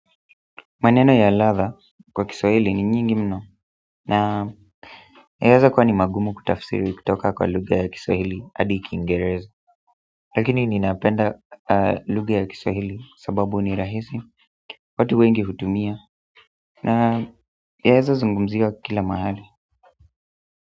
Maneno ya ladha kwa kiswahili ni nyingi mno na yaweza kuwa ni magumu kutafisiri kutoka kwa lugha ya kiswahili hadi kiingereza lakini ninapenda lugha ya kiswahili sababu ni rahisi, watu wengi hutumia na yaweza zungumziwa kila mahali.